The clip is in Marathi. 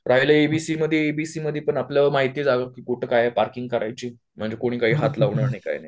राहिलं एबीसी मध्ये एबीसी मध्ये पण आपल्याला माहिती झालं की कुठे काय पार्किंग करायची, म्हणजे काय कोणी हात लावणार नाही काय नाही